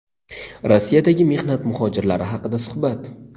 Rossiyadagi mehnat muhojirlari haqida suhbat.